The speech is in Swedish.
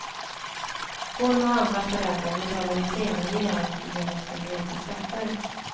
Hon och andra föräldrar betalar ju senare igen genom sina egna skatter.